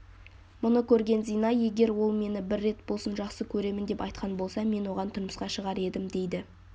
мұны көрген зина егер ол мені бір рет болсын жақсы көремін деп айтқан болса мен оған тұрмысқа шығар едім дейді